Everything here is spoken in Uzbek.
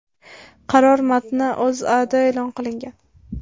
Qaror matni O‘zAda e’lon qilingan .